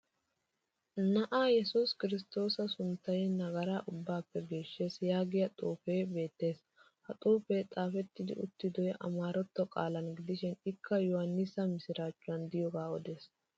"na"aa yesus kiristoosa sunttay Nagara ubbaappe geeshshes" yaagiya xuufee beettes. Ha xuufee xaafetti uttidoy amaratto qaalaana gidishin ikka yohannisa mishiraachchuwan diyoogaa odes.